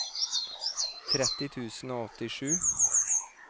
tretti tusen og åttisju